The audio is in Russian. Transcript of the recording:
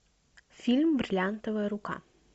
фильм бриллиантовая рука